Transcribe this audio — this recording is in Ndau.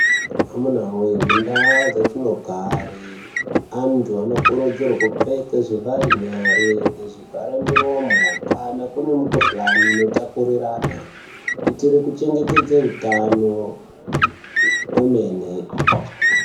Amuna voye mundaa dzatinogare antu anokurudzirwa kupfeka zvivhare nyare nezvivhare miromo. Kana kune mikuhlani inotapurirana kuitire kuchengetedze hutano kwemene.